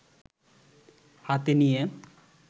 হাতে নিয়ে